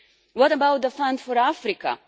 What about the fund for Africa?